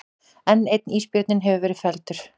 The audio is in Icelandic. Enn einn ísbjörninn hefur verið felldur